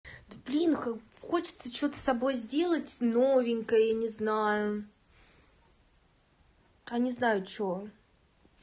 да блин хочется что-то с собой сделать новенькое я не знаю а не знаю что